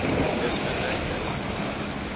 dis winter dis